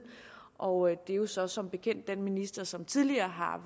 og det er jo så som bekendt den minister som tidligere har